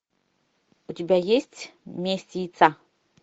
у тебя есть месть яйца